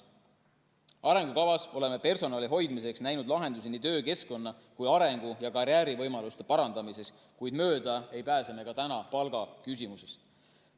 Arengukavas oleme personali hoidmiseks näinud lahendusi nii töökeskkonna kui ka arengu‑ ja karjäärivõimaluste parandamiseks, kuid mööda ei pääse me palgaküsimusest.